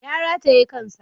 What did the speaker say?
Ya rataye kan sa.